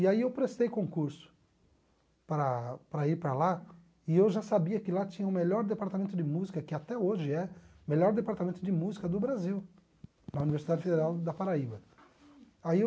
E aí eu prestei concurso para para ir para lá e eu já sabia que lá tinha o melhor departamento de música, que até hoje é o melhor departamento de música do Brasil, na Universidade Federal da Paraíba aí eu